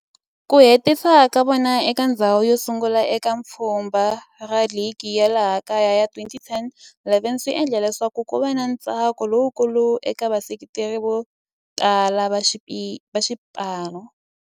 Ku hetisa ka vona eka ndzhawu yosungula eka pfhumba ra ligi ya laha kaya ya 2010 11 swi endle leswaku kuva na ntsako lowukulu eka vaseketeri votala va xipano.